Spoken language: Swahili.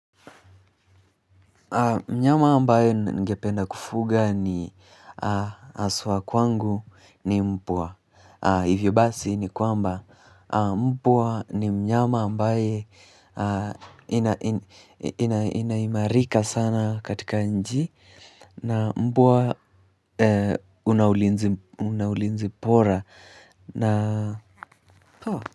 Mnyama ambaye ningependa kufuga ni haswa kwangu ni mbwa. Hivyo basi ni kwamba mbwa ni mnyama ambaye inaimarika sana katika nchi. Na mbwa una ulinzi bora. Na.